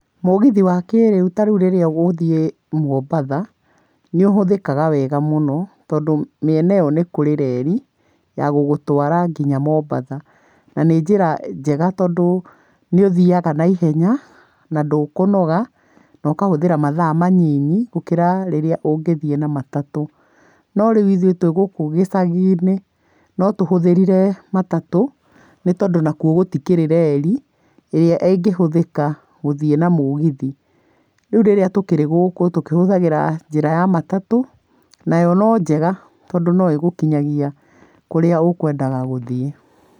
Mũgithi wa kĩrĩu ta rĩu rĩrĩa ũgũthiĩ Mombatha, nĩ ũhũthĩkaga wega mũno, tondũ mĩena ĩyo nĩ kũrĩ reri ya gũgũtwara nginya Mombatha, na nĩ njĩra njega tondũ nĩ ũthiaga na ihenya na ndũkũnoga, nokahũthĩra mathaa manyinyi gũkĩra rĩrĩa ũngĩthiĩ na matatũ. No rĩu ithuĩ twĩ gũkũ icagi-inĩ, no tũhũthĩrire matatũ, nĩ tondũ nakuo gũtikĩrĩ reri, ĩrĩa ĩngĩhũthĩka gũthiĩ na mũgithi, rĩu rĩrĩa tũkĩrĩ gũkũ, tũkĩhũthagĩra njĩra ya matatũ, nayo no njega tondũ no ĩgũkinyagia kũrĩa ũkwendaga gũthiĩ.